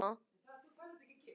Ég er búinn að tala af mér.